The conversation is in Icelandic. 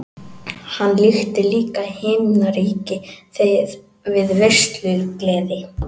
Hann líkti líka himnaríki við veislugleði.